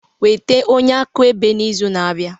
Weta onye akaebe n'izu na-abịa